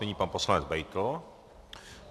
Nyní pan poslanec Beitl.